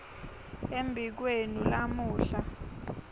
embi kwenu lamuhla